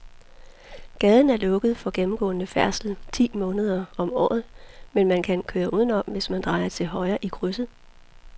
Gaden er lukket for gennemgående færdsel ti måneder om året, men man kan køre udenom, hvis man drejer til højre i krydset.